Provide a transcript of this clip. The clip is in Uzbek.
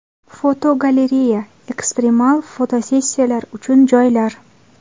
Fotogalereya: Ekstremal fotosessiyalar uchun joylar.